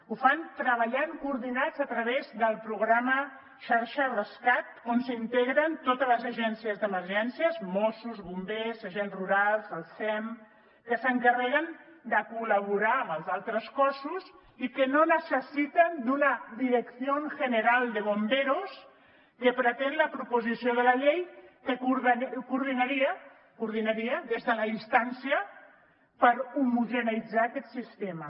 ho fan treballant coordinats a través del programa xarxa rescat on s’integren totes les agències d’emergències mossos bombers agents rurals el sem que s’encarreguen de col·laborar amb els altres cossos i que no necessiten d’una dirección general de bomberos que pretén la proposició de la llei que coordinaria coordinaria des de la distància per homogeneïtzar aquest sistema